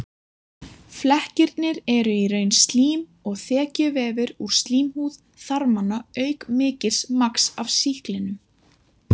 Flekkirnir eru í raun slím og þekjuvefur úr slímhúð þarmanna auk mikils magns af sýklinum.